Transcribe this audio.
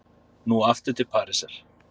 Nú aftur til Parísar.